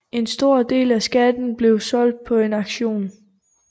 En stor del af skatten blev solgt på en aktion